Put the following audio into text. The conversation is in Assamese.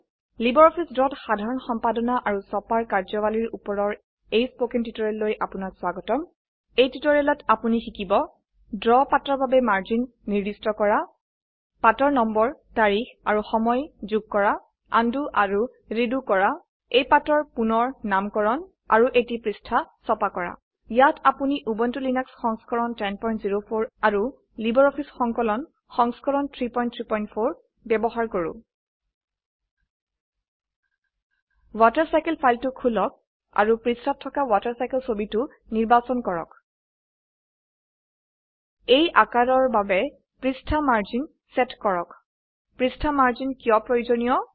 লাইব্ৰঅফিছ ড্ৰ ত সাধাৰণ সম্পাদনা আৰু ছপাৰ কাৰ্যাবলীৰ উপৰৰ এই স্পকেন টিউটোৰিয়েল লৈ আপোনাক স্বাগতম এই টিউটোৰিয়েলটিত আপোনি শিকিব ড্ৰ পাতাৰ বাবে মাৰ্জিন নিৰ্দিষ্ট কৰা পাতৰ নম্বৰ তাৰিখ আৰু সময় যোগ কৰা আনডু আৰু ৰিডু কৰা এটি পাতৰ পুনঃনামকৰণ আৰু এটি পৃষ্ঠা ছপা কৰা ইয়াত আমি উবুন্টু লিনাক্স সংস্কৰণ 1004 আৰু লাইব্ৰঅফিছ সংকলন সংস্কৰণ 334 ব্যবহাৰ কৰো ৱাটাৰচাইকেল ফাইলটো খুলু আৰু পৃষ্ঠাত থকা ৱাটাৰচাইকেল ছবিটো নিৰ্বাচন কৰক এই আঁকাৰৰ বাবে পৃষ্ঠাৰ মাৰ্জিন চেত কৰক পৃষ্ঠা মাৰ্জিন কিয় প্ৰয়োজনীয়